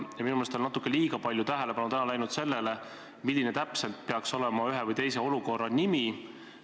Minu meelest on natuke liiga palju tähelepanu läinud täna sellele, milline täpselt peaks olema ühe või teise olukorra nimi.